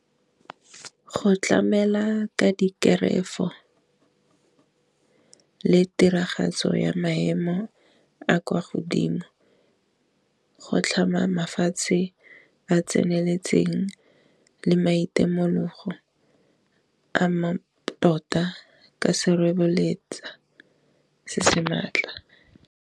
Go tlamela ka dikerefo le tiragatso ya maemo a kwa godimo, go tlhama fatshe ba tseneletseng le maitemogelo a mantota ka sereboletsa se se maatla.